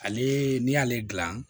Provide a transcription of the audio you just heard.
Ale n'i y'ale dilan